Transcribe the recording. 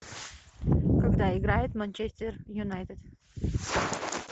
когда играет манчестер юнайтед